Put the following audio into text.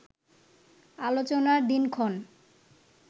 আলোচনার দিনক্ষণ